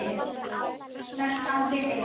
Þetta á við ef